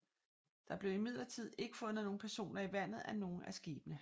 Der blev imidlertid ikke fundet nogen personer i vandet af nogle af skibene